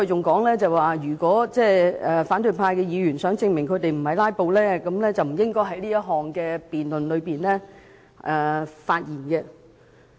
他還指出如反對派議員想證明他們並非"拉布"，便不應在是項辯論中發言。